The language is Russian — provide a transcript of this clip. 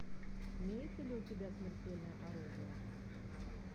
имеется ли у тебя смертельное оружие